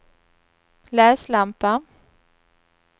läslampa